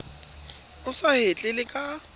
o sa hetle le ka